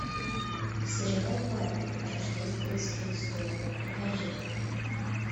сериал барби рождественская история покажи